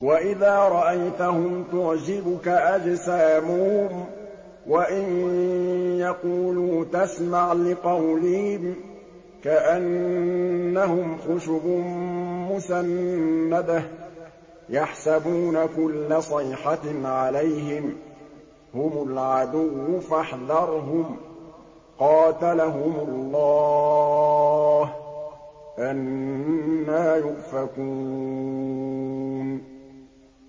۞ وَإِذَا رَأَيْتَهُمْ تُعْجِبُكَ أَجْسَامُهُمْ ۖ وَإِن يَقُولُوا تَسْمَعْ لِقَوْلِهِمْ ۖ كَأَنَّهُمْ خُشُبٌ مُّسَنَّدَةٌ ۖ يَحْسَبُونَ كُلَّ صَيْحَةٍ عَلَيْهِمْ ۚ هُمُ الْعَدُوُّ فَاحْذَرْهُمْ ۚ قَاتَلَهُمُ اللَّهُ ۖ أَنَّىٰ يُؤْفَكُونَ